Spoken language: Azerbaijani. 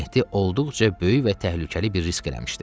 Mehdi olduqca böyük və təhlükəli bir risk eləmişdi.